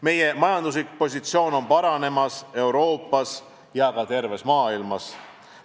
Meie majanduslik positsioon on paranemas nii Euroopas kui ka terves maailmas.